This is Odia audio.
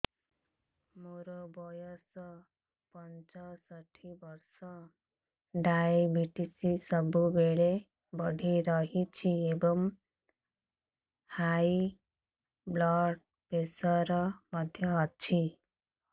ମୋର ବୟସ ପଞ୍ଚଷଠି ବର୍ଷ ଡାଏବେଟିସ ସବୁବେଳେ ବଢି ରହୁଛି ଏବଂ ହାଇ ବ୍ଲଡ଼ ପ୍ରେସର ମଧ୍ୟ ଅଛି